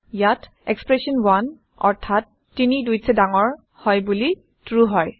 ইয়াত এক্সপ্ৰেচন 1 অৰ্থাৎ ৩gt২ হয় বোলি ট্ৰু হয়